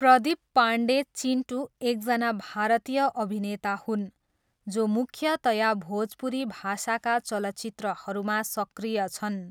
प्रदीप पाण्डे 'चिन्टू' एकजना भारतीय अभिनेता हुन् जो मुख्यतया भोजपुरी भाषाका चलचित्रहरूमा सक्रिय छन्।